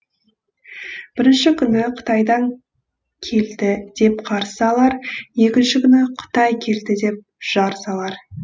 бірінші күні қытайдан келді деп қарсы алар екінші күні қытай келді деп жар салар